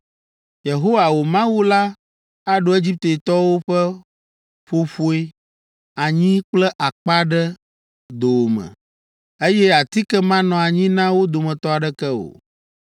“Yehowa, wò Mawu la aɖo Egiptetɔwo ƒe ƒoƒoe, anyi kple akpa ɖe dowòme, eye atike manɔ anyi na wo dometɔ aɖeke o.